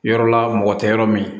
Yɔrɔla mɔgɔ tɛ yɔrɔ min